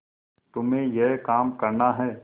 तुम्हें यह काम करना है